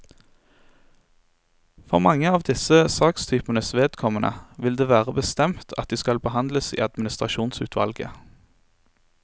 For mange av disse sakstypenes vedkommende vil det være bestemt at de skal behandles i administrasjonsutvalget.